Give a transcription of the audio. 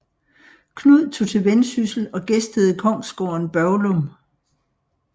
Knud tog til Vendsyssel og gæstede kongsgården Børglum